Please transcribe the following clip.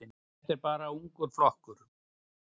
Þetta er bara ungur flokkur.